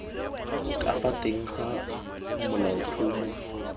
ka fa teng ga molaotlhomo